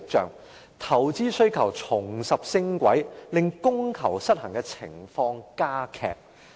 此外，投資需求重拾升軌，令供求失衡的情況加劇。